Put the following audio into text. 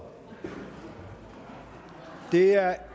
da det er